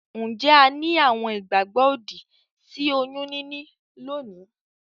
Njé a ni àwon ìgbàgbó òdì sí oyún níní lónìí?